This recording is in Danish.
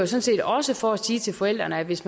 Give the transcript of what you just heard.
set også for at sige til forældrene at hvis